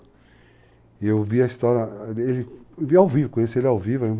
E eu vi a história, conheci ele ao vivo.